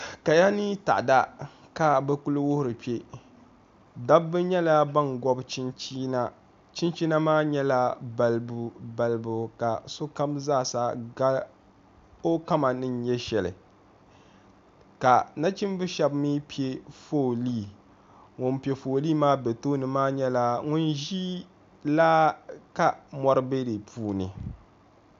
Kaya ni taada ka bɛ kuli wuhiri kpe dabba nyɛla bana gɔbi chinchina chinchina maa nyɛla balibubalibu ka sokam zaa sa ga o kama ni nyɛ shɛli ka nachimbihi shɛba mi pe fooli ŋuni pe fooli maa be tooni maa nyɛla ŋuni ʒi laa ka mɔri be di puuni